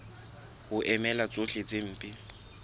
ho emela tsohle tse mpe